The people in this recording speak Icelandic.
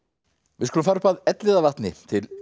við skulum fara upp að Elliðavatni til